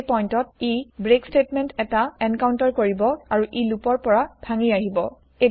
এই পইন্তত ই ব্ৰেক স্তেতমেন্ত এটা এনকাউন্তাৰ কৰিব আৰু ই লুপৰ পৰা ভাঙি আহিব